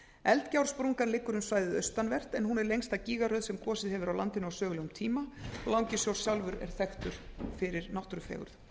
eldgjársprungan liggur um svæðið austanvert en hún er lengsta gígaröð sem gosið hefur á landinu á sögulegum tíma langisjór sjálfur er þekktur fyrir náttúrufegurð